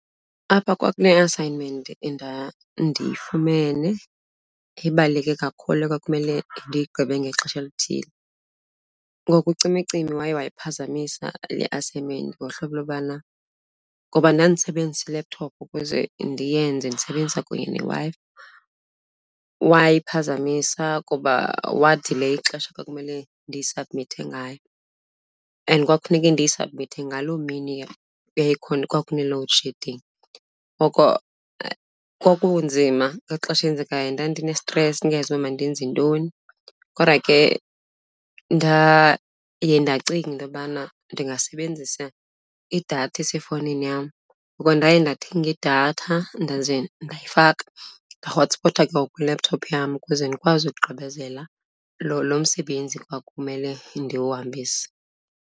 Apha kwakune-assignment endandiyifumene ebaluleke kakhulu ekwakumele ndiyigqibe ngexesha elithile. Ngoku ucimicimi waye wayiphazamisa le assignment ngohlobo lobana ngoba ndandisebenzisa ilephuthophu ukuze ndiyenze ndisebenzisa kunye neWi-Fi. Wayiphazamisa kuba wadileya ixesha ekwakumele ndiyisabhmithe ngayo and kwakufuneke ndiyisabhmithe ngaloo mini yayikhona, kwakune-load shedding. Ngoko kwakunzima, ngexesha eyenzekayo ndandinestresi ndingayazi uba mandenze ntoni. Kodwa ke ndaye ndacinga into yobana ndingasebenzisa idatha esefowunini yam. Ngoko ndaye ndathenga idatha ndaze ndayifaka, ndahotspota ke ngoku kwi-laptop yam ukuze ndikwazi ukugqibezela loo msebenzi kwakumele ndiwuhambise.